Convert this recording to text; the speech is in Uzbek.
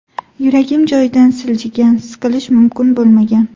Yuragim joyidan siljigan, siqilish mumkin bo‘lmagan.